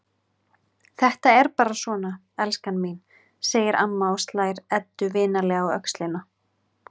Þetta er bara svona, elskan mín, segir amma og slær Eddu vinalega á öxlina.